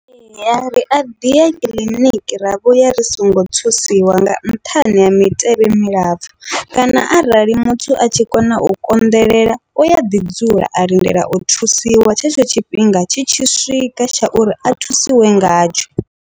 Ria ḓiya kiḽiniki ra vhuya ri songo thusiwa nga nṱhani ha mitevhe milapfhu, kana arali muthu a tshi kona u konḓelela uya ḓi dzula a lindela u thusiwa tshetsho tshifhinga tshi tshi swika tsha uri a thusiwe ngatsho.